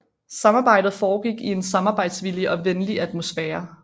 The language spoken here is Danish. Samarbejdet foregik i en samarbejdsvillig og venlig atmosfære